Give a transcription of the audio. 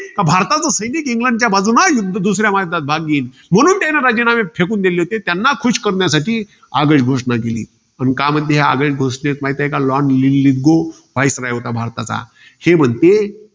कि भारताचं सैनिक, इंग्लंडच्या बाजूनं युद्द~ दुसऱ्या महायुद्धात भाग घेईल. म्हणून त्यांनी राजीनामे फेकून दिले होते. म्हणून त्यांना खुश करण्यासाठी. आगळ घोषणा केली. पण का म्हणते ही आगळ घोषणेत, lord लीलीगो, viceroy होता, भारताचा. हे म्हणते.